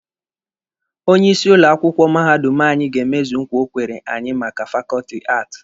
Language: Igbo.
Onye isi ụlọ akwụkwọ mahadum anyị ga-emezu nkwa o kwere anyị maka fakọọtị Aati.